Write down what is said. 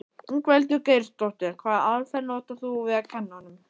Ingveldur Geirsdóttir: Hvaða aðferð notar þú við að kenna honum?